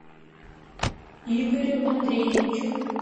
игорю андреевичу